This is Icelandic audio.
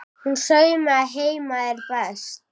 Hún saumaði heima er best.